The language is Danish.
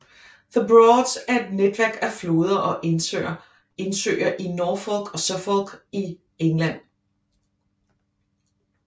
The Broads er et netværk af floder og indsøer i Norfolk og Suffolk i England